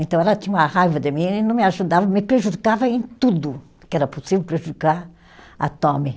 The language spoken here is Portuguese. Então, ela tinha uma raiva de mim e não me ajudava, me prejudicava em tudo que era possível prejudicar a tome